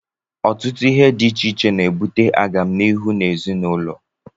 Ọtụtụ ihe dị iche iche na-ebute agamniihu na ezinụlọ.